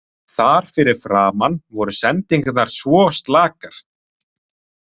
Þar fyrir framan voru sendingarnar svo slakar.